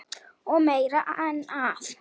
Og meira en það.